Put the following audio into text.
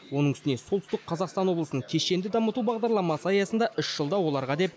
оның үстіне солтүстік қазақстан облысын кешенді дамыту бағдарламасы аясында үш жылда оларға деп